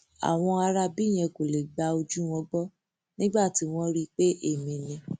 àwọn aráabí yẹn kò lè gba ojú wọn gbọ nígbà tí wọn rí i pé èmi ni